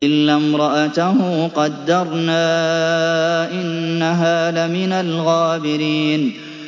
إِلَّا امْرَأَتَهُ قَدَّرْنَا ۙ إِنَّهَا لَمِنَ الْغَابِرِينَ